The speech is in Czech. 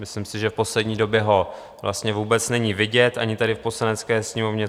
Myslím si, že v poslední době ho vlastně vůbec není vidět ani tady v Poslanecké sněmovně.